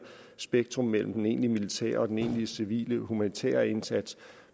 spektrum mellem den egentlig militære og den egentlig civile humanitære indsats